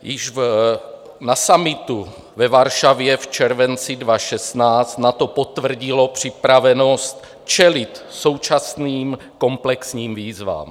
Již na summitu ve Varšavě v červenci 2016 NATO potvrdilo připravenost čelit současným komplexním výzvám.